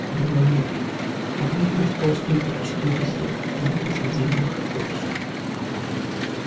его ноги обутые в толстую губчатую резину не производили никакого шума